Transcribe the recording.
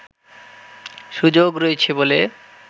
সুযোগ রয়েছে বলে